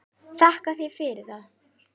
Þakka þér fyrir það.